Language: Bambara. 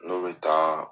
N'o bɛ taa